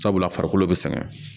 Sabula farikolo be sɛgɛn